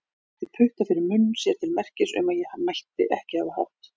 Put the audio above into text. Hún setti putta fyrir munn sér til merkis um að ég mætti ekki hafa hátt.